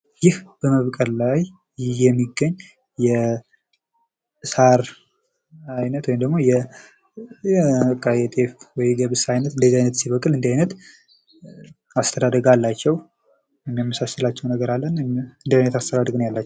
ይህ በመብቀል ላይ የሚገኝ የሳር አይነት ወይም የጤፍ ወይም የገብስ አይነት ሲበቅል እንደዚህ አይነት አስተዳደግ አላቸዉ።